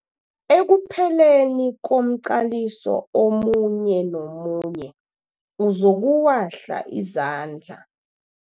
Ekupheleni komqaliso omunye nomunye uzokuwahla izandla.